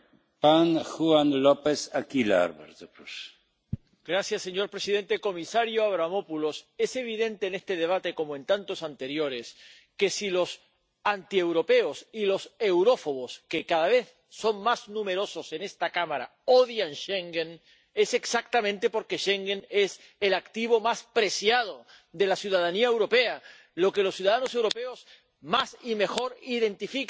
Señor presidente, señor comisario Avramopoulos, es evidente en este debate como en tantos anteriores que si los antieuropeos y los eurófobos, que cada vez son más numerosos en esta Cámara, odian Schengen es exactamente porque Schengen es el activo más preciado de la ciudadanía europea, lo que los ciudadanos europeos más y mejor identifican con lo mejor de la historia de Europa como la hemos construido.